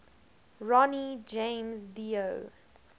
ronnie james dio